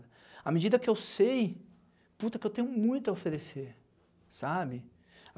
À medida que eu sei, puta, que eu tenho muito a oferecer, sabe?